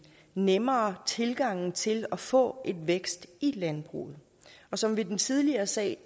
nemmere tilgang til at få vækst i landbruget og som ved den tidligere sag